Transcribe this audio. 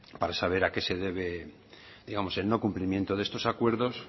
para saber a qué se debe digamos el no cumplimiento de estos acuerdos